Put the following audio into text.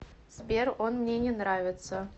сбер он мне не нравится